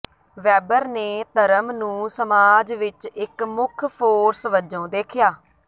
Webber ਨੇ ਧਰਮ ਨੂੰ ਸਮਾਜ ਵਿਚ ਇਕ ਮੁੱਖ ਫੋਰਸ ਵਜੋਂ ਦੇਖਿਆ